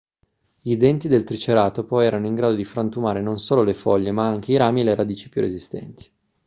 i denti del triceratopo erano in grado di frantumare non solo le foglie ma anche i rami e le radici più resistenti